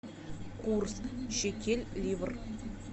курс шекель ливр